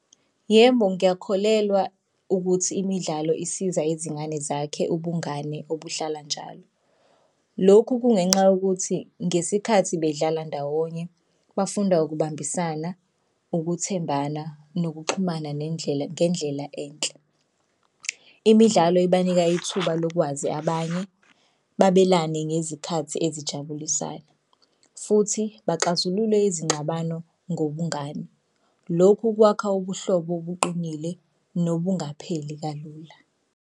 Yebo, ngiyakholelwa ukuthi imidlalo isiza izingane zakhe ubungane obuhlala njalo. Lokhu kungenxa yokuthi ngesikhathi bedlala ndawonye bafunda ukubambisana, ukuthembana, nokuxhumana nendlela ngendlela enhle. Imidlalo ibanika ithuba lokwazi abanye babelane ngezikhathi esijabulisayo futhi baxazulule izingxabano ngobungani. Lokhu kwakha ubuhlobo obuqinile nobungapheli kalula.